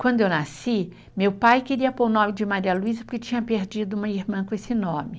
Quando eu nasci, meu pai queria pôr o nome de Maria Luiza porque tinha perdido uma irmã com esse nome.